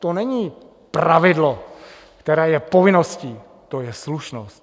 To není pravidlo, které je povinností, to je slušnost.